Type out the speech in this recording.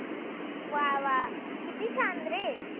वा वा किती छान रे.